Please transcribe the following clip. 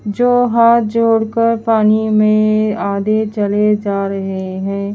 जो हाथ जोड़ कर पानी में आधे चले जा रहे है।